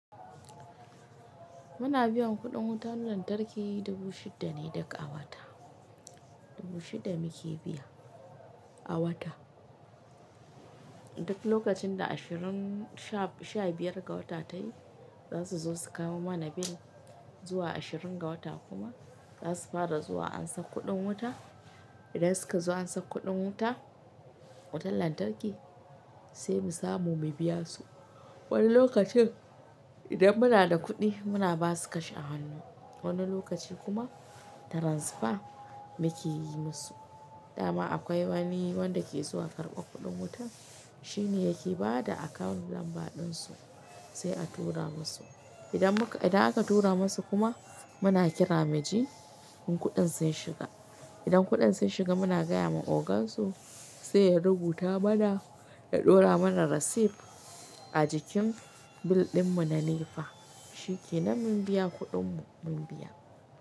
Muna biyan kuɗin wutar lantarki dubu shida ne duka awata, dubu shida muke biya a wata. Duk lokacin da ashirin sha-biyar ga wata ta yi, za su zo su kamo mana bill. Zuwa ashirin ga wata kuma za su fara zuwa ansar kuɗin wuta. Idan suka zo ansar kuɗin wuta, wutar lantarki sai mu samu mu biya su. Wani lokacin idan muna da kuɗi muna ba su cash a hannu, wani lokaci kuma transfer mu ke yi musu. Dama akwai wani wanda ke zuwa karɓar kuɗin wutar, shi ne yake ba da akawun lamba ɗin su sai a tura masu. Idan aka tura masu kuma muna kira miji in kuɗin sun shiga. Idan kuɗin sun shiga muna gaya wa ogan su sai ya rubuta mana ya ɗora mana rasip a jikin bill ɗin mu na NEPA, shike nan mun biya kuɗin mu mun biya.